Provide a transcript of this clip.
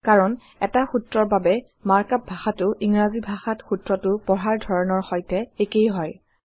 কাৰণ এটা সূত্ৰৰ বাবে মাৰ্কআপ ভাষাটো ইংৰাজী ভাষাত সূত্ৰটো পঢ়াৰ ধৰনৰ সৈতে একেই হয়